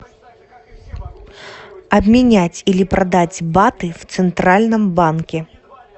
обменять или продать баты в центральном банке